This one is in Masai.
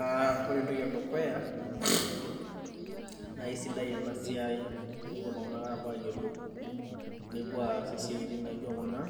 Uh ore entoki edukuya naisidai ena siai tenepuo iltung'anak apuo ayiolou nepuo aas isiaitin naijio kuna